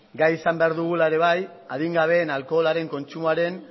gai izan behar dugula ere bai adingabeen alkoholaren kontsumoaren